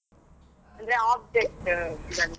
ಅಂದ್ರೆ .